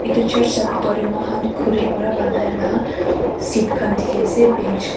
itu church la bitor tey muihan khuri para banai la seat khan dikhi ase bench kha--